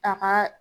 A ka